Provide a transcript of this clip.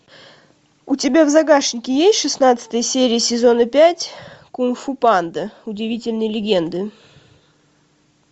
у тебя в загашнике есть шестнадцатая серия сезона пять кунг фу панда удивительные легенды